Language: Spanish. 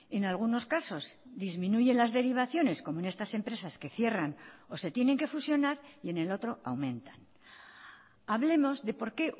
en algunos casos disminuyen las derivaciones como en estas empresas que cierran o se tienen que fusionar y en el otro aumentan hablemos de por qué